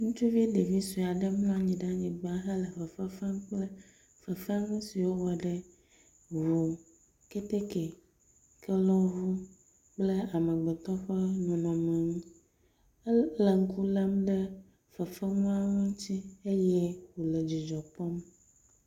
Ŋutsuvi ɖevisoe aɖe mlɔanyi ɖe anyigba hele fefefem kple fefenusiwo wɔɖe ʋu kɛtɛkɛ kelɔʋu kple amegbetɔ ƒe nɔnɔme ŋu ele ŋkulem ɖe fefenuawo ŋutsi eye wole dzidzɔkpɔm